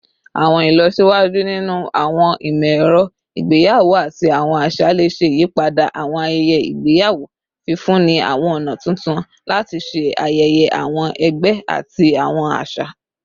Awọn ilọsiwaju ninu awọn imọ-ẹrọ igbeyawo ati awọn aṣa le ṣe iyipada awọn ayẹyẹ igbeyawo, fifunni awọn ọna tuntun lati ṣe ayẹyẹ awọn ẹgbẹ ati awọn aṣa.